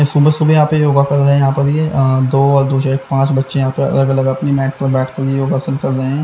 सुबह सुबह यहाँ पे योगा कर रहे हैं यहाँ पर ये दो और दो से एक पांच बच्चे यहाँ पर अलग-अलग अपनी मैट पर बैठकर योगासन कर रहे हैं।